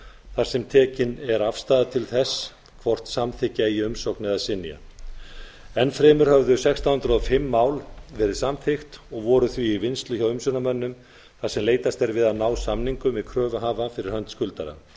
þar sem tekin er afstaða til þess hvort samþykkja eigi umsókn eða synja enn fremur höfðu sextán hundruð og fimm mál verið samþykkt og voru því í vinnslu hjá umsjónarmönnum þar sem leitast er við að ná samningum við kröfuhafa fyrir hönd skuldara